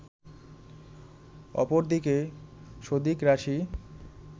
অপরদিকে সদিক রাশি